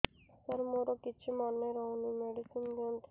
ସାର ମୋର କିଛି ମନେ ରହୁନି ମେଡିସିନ ଦିଅନ୍ତୁ